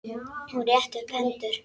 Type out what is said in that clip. Hún rétti upp hendur.